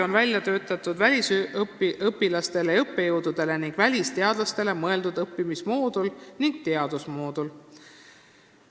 Välisüliõpilaste ja -õppejõudude ning välisteadlaste jaoks on välja töötatud eraldi õppimismoodul ja teadusmoodul.